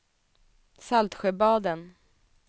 Saltsjöbaden